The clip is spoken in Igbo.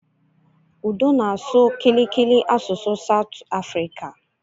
Udo na-asụ Kiliki, asụsụ Satụ Afrika